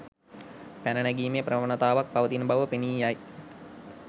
පැන නැගීමේ ප්‍රවණතාවක් පවතින බව පෙනී යයි.